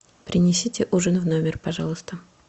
принесите ужин в номер пожалуйста